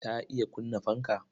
Ta iya kunna fanka.